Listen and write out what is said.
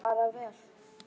Bara vel.